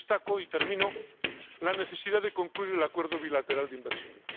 Y destaco —y termino— la necesidad de concluir el acuerdo bilateral de inversiones.